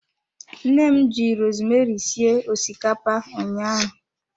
Nne m ji rosemeri sie osikapa ụnyaahụ.